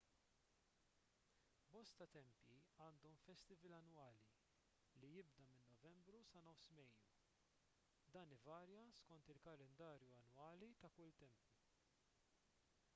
bosta tempji għandhom festival annwali li jibda minn novembru sa nofs mejju dan ivarja skont il-kalendarju annwali ta' kull tempju